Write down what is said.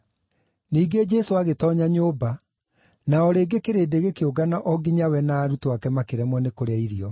Ningĩ Jesũ agĩtoonya nyũmba, na o rĩngĩ kĩrĩndĩ gĩkĩũngana o nginya we na arutwo ake makĩremwo nĩ kũrĩa irio.